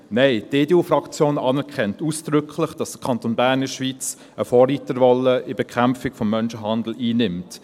Nein, die EDU-Fraktion anerkennt ausdrücklich, dass der Kanton Bern in der Schweiz eine Vorreiterrolle in der Bekämpfung des Menschenhandels einnimmt.